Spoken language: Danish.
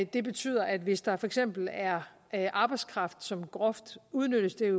det betyder at hvis der for eksempel er er arbejdskraft som groft udnyttes det